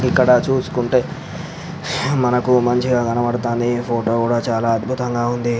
ఇక్కడ చూస్కుంటే మంచిగా కబడుతుంది ఫోటో కూడా చాలా అద్భుతంగా ఉంది.